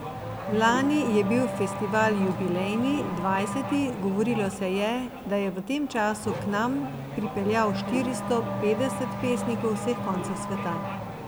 Lani je bil festival jubilejni, dvajseti, govorilo se je, da je v tem času k nam pripeljal štiristo petdeset pesnikov z vseh koncev sveta.